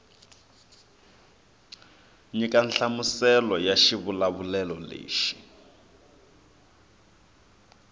nyika nhlamuselo ya xivulavulelo lexi